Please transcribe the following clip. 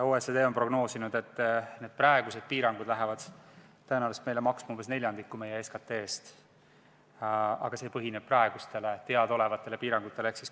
OECD on prognoosinud, et praegused piirangud lähevad meile tõenäoliselt maksma umbes neljandiku meie SKT-st, aga see põhineb praegustele teadaolevatele piirangutele.